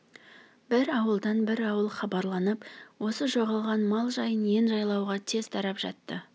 бір ауылдан бір ауыл хабарланып осы жоғалған мал жайы ен жайлауға тез тарап жатты